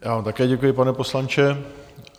Já vám také děkuji, pane poslanče.